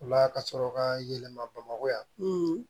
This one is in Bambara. O la ka sɔrɔ ka yɛlɛma bamakɔ yan